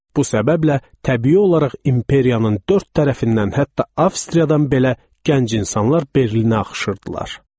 Bu səbəblə təbii olaraq imperiyanın dörd tərəfindən hətta Avstriyadan belə gənc insanlar Berlinə axışırdılar.